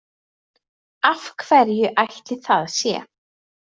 Af hverju ætli það sé?